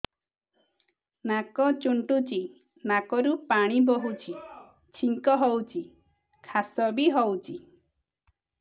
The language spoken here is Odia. ନାକ ଚୁଣ୍ଟୁଚି ନାକରୁ ପାଣି ବହୁଛି ଛିଙ୍କ ହଉଚି ଖାସ ବି ହଉଚି